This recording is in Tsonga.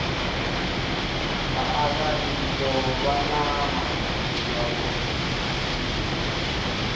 vaaka tiko vani mabindzu ya vona